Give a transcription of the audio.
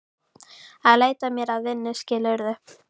Að leita mér að vinnu, skilurðu.